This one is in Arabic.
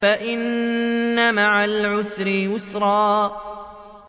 فَإِنَّ مَعَ الْعُسْرِ يُسْرًا